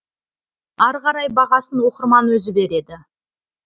ары қарай бағасын оқырман өзі береді